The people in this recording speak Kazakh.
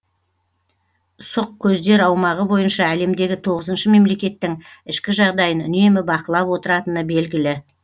сұқ көздер аумағы бойынша әлемдегі тоғызыншы мемлекеттің ішкі жағдайын үнемі бақылап отыратыны белгілі